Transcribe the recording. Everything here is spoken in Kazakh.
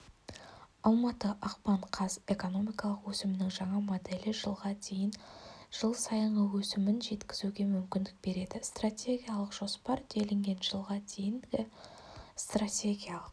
алматы ақпан қаз экономикалық өсімінің жаңа моделі жылға дйеін жыл сайынғы өсімін жеткізуге мүмкіндік береді стратегиялық жоспар делінген жылға дейінгі стратегиялық